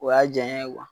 O y'a jaɲa ye